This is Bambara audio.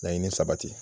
Laɲini sabati